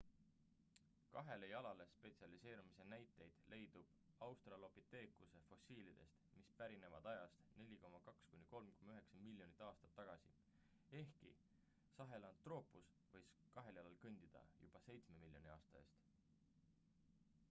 kahele jalale spetsialiseerumise näiteid leidub australopiteekuse fossiilides mis pärinevad ajast 4,2–3,9 miljonit aastat tagasi ehkki sahelantroopus võis kahel jalal kõndida juba seitsme miljoni aasta eest